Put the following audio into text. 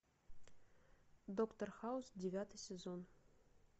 доктор хаус девятый сезон